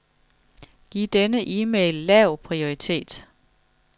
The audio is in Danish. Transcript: Giv denne e-mail lav prioritet.